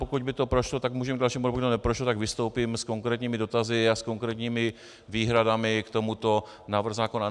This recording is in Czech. Pokud by to prošlo, tak můžeme k dalšímu, pokud by to neprošlo, tak vystoupím s konkrétními dotazy a s konkrétními výhradami k tomuto návrhu zákona.